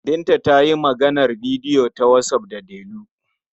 Binta ta yi maganar bidiyo ta whatsApp da Delu.